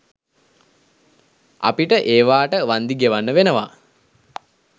අපිට ඒවාට වන්දි ගෙවන්න වෙනවා?